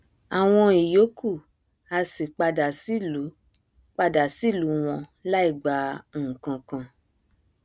àwọn ìyókù a sì padà sílù padà sílù wọn láìgba nkakan